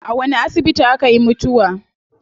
A wani asibiti akayi mutuwa?